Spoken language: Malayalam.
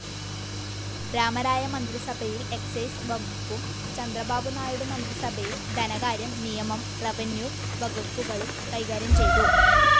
രാമരായ മന്ത്രിസഭയിൽ എക്സൈസ്‌ വകുപ്പും ചന്ദ്രബാബുനായിഡു മന്ത്രിസഭയിൽ ധനകാര്യം, നിയമം, റെവന്യൂ വകുപ്പുകളും കൈകാര്യം ചെയ്തു.